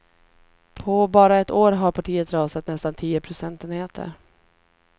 På bara ett år har partiet rasat nästan tio procentenheter.